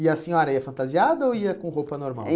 E a senhora ia fantasiada ou ia com roupa normal?